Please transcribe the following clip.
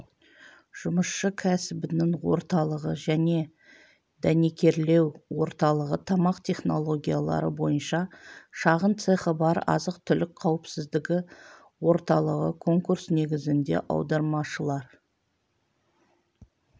жұмысшы кәсібінің орталығы және дәнекерлеу орталығы тамақ технологиялары бойынша шағын цехы бар азық-түлік қауіпсіздігі орталығы конкурс негізінде аудармашылар